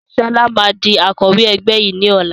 Sọlá máa di Akọ̀wẹ́ ẹgbẹ́ yìí ni ọ̀la